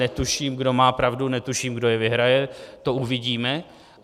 Netuším, kdo má pravdu, netuším, kdo je vyhraje, to uvidíme.